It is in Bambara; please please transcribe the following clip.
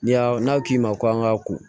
Ni y'a n'a k'i ma ko an ka kun